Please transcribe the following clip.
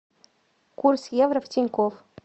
курс евро в тинькофф